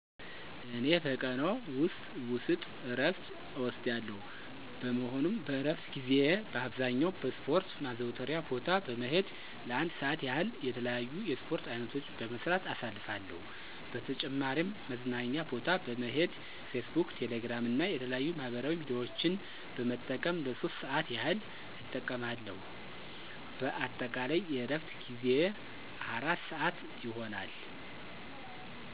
እኔ በቀን ዎስጥ እረፍት እወስዳለሁ። በመሆኑም በእረፍት ጊዜየ በአብዛኛው በስፖረት ማዘውተሪያ ቦታ በመሄድ ለአንድ ሰአት ያህል የተለያዩ የስፖርት አይነቶችን በመስራት አሳልፋለሁ። በተጨማሪም መዝናኛ ቦታ በመሄድ ፌስቡክ፣ ቴሌግራም እና የተለያዩ ማህበራዊ ሚዲያዎችን በመጠቀም ለሶስት ሰአት ያህል እጠቀማለሁ። በአጠቃላይ የእረፍት ጊዜየ አራት ሰአት ይሆናል።